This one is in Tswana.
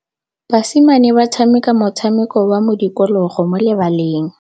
Basimane ba tshameka motshameko wa modikologô mo lebaleng.